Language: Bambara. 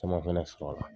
Caman fɛnɛ sɔrɔla